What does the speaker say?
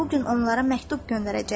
Mən bu gün onlara məktub göndərəcəyəm.